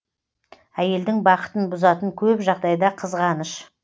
әйелдің бақытын бұзатын көп жағдайда қызғаныш